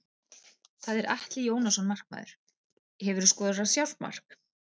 Það er Atli Jónasson markmaður Hefurðu skorað sjálfsmark?